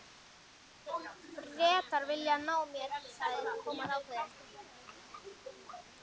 Bretar vilja ná mér sagði Thomas ákveðinn.